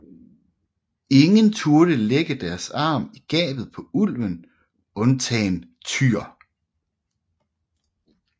Ingen turde lægge deres arm i gabet på ulven undtagen Tyr